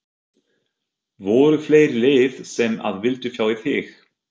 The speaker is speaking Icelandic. Voru fleiri lið sem að vildu fá þig?